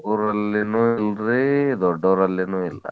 ಹುಡಗುರಲ್ಲಿನೂ ನೋಡ್ರಿ ದೊಡ್ಡೋರಲ್ಲಿನೂ ಇಲ್ಲಾ.